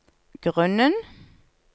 grunnen